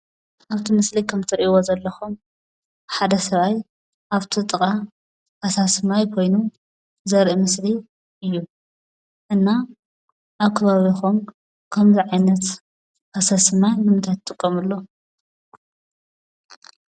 አብቲ ምሰሊ ከምእትሪእይዎ ዘለኹም ሓደ ሰብአይ አብቲ ጥቃ ፈሳሲ ማይ ኮይኑ ዘርኢ ምስሊ እዩ፡፡ እና አብ ከባቢኹም ከምዚ ዓይነት ፈሳሲ ማይ ንምንታይ ትጥቀምሉ?